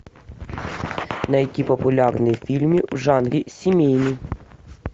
найти популярные фильмы в жанре семейный